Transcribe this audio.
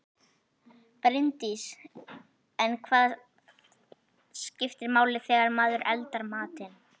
Bryndís: En hvað skiptir máli þegar maður eldar matinn?